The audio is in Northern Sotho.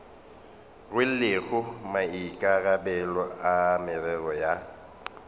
rwelego maikarabelo a merero ya